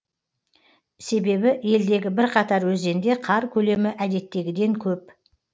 себебі елдегі бірқатар өзенде қар көлемі әдеттегіден көп